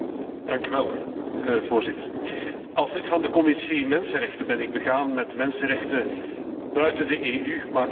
Voorzitter, als lid van de Commissie mensenrechten ben ik begaan met mensenrechten buiten de EU, maar ook binnen de Unie.